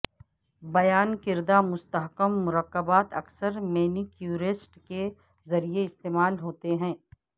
بیان کردہ مستحکم مرکبات اکثر مینیکیورسٹ کے ذریعہ استعمال ہوتے ہیں